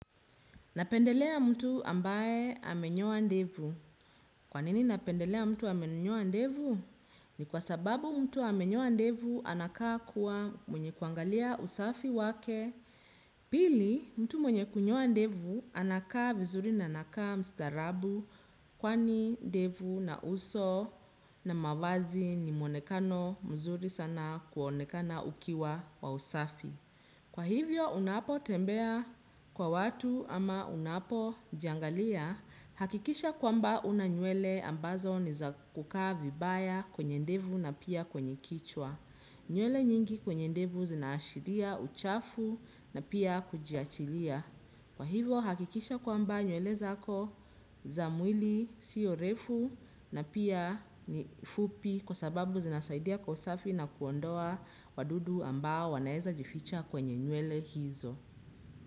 Napendelea mtu ambaye amenyoa ndevu. Kwa nini napendelea mtu ambaye amenyoa ndevu? Ni kwa sababu mtu amenyoa ndevu anakaa kuwa mwenye kuangalia usafi wake, pili mtu mwenye kunyoa ndevu anakaa vizuri na anakaa mstarabu. Kwani ndevu na uso na mavazi ni muonekano mzuri sana kuonekana ukiwa wa usafi. Kwa hivyo unapo tembea kwa watu ama unapo jiangalia, hakikisha kwamba huna nywele ambazo ni za kukaa vibaya kwenye ndevu na pia kwenye kichwa. Nywele nyingi kwenye ndevu zinaashiria, uchafu na pia kujiachilia. Kwa hivo hakikisha kwamba nywele zako za mwili sio refu na pia ni fupi kwa sababu zinasaidia kwa usafi na kuondoa wadudu amba wanaweza jificha kwenye nywele hizo.